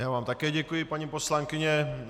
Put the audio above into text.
Já vám také děkuji, paní poslankyně.